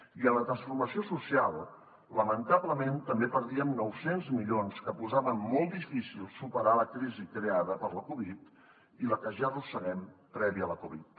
i en la transformació social lamentablement també perdíem nou cents milions que posaven molt difícil superar la crisi creada per la covid i la que ja arrosseguem prèvia a la covid